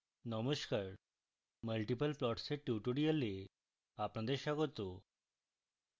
নমস্কার multiple plots এর tutorial আপনাদের স্বাগত